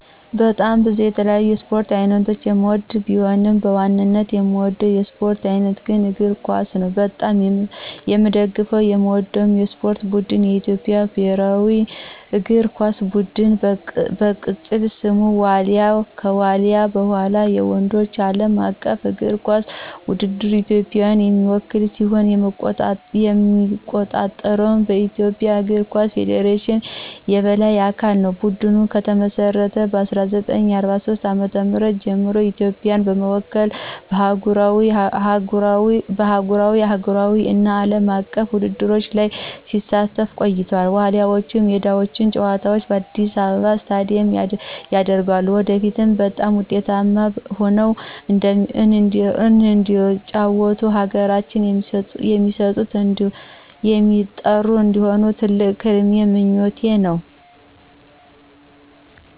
በጣም ብዙ የተለያዩ የስፖርት አይነቶችን የምወድቢሆንም፣ በዋናነት የምወደው የስፖርት አይነት ግን እግር ኳስ ነው። በጣም የምደግፈውና የምወደው የስፖርት ቡድን የኢትዮጵያ ብሔራዊ እግር ኳስ ቡድን፣ በቅፅል ስሙ ዋሊያ፣ ከዋልያ በኋላ፣ በወንዶች ዓለም አቀፍ እግር ኳስ ውድድር ኢትዮጵያን የሚወክል ሲሆን የሚቆጣጠረው በኢትዮጵያ እግር ኳስ ፌዴሬሽን የበላይ አካል ነው። ቡድኑ ከተመሰረተ ከ1943 ዓ.ም ጀምሮ ኢትዮጵያን በመወከል በአህጉራዊ፣ አህጉራዊ እና አለም አቀፍ ውድድሮች ላይ ሲሳተፍ ቆይቷል፤ ዋሊያዎቹ የሜዳቸውን ጨዋታ በአዲስ አበባ ስታዲየም ያደርጋሉ። ወደፊትም በጣም ውጤታማ ሆነው እንደሩጫው ሀገራችን የሚስጠሩ እንዲሆኑ ትልቅ ህልሜና ምኞቴ ነው።